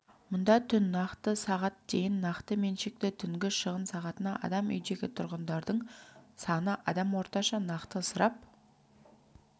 мұнда түн нақты сағат дейін нақты меншікті түнгі шығын сағатына адам үйдегі тұрғындардың саны адам орташа нақты ысырап